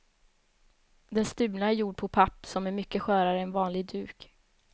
Den stulna är gjord på papp, som är mycket skörare än vanlig duk.